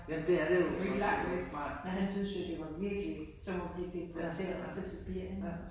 Vi jo ikke langt. Men han syntes jo det var virkelig som at blive deporteret til Sibirien